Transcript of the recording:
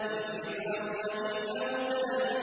وَفِرْعَوْنَ ذِي الْأَوْتَادِ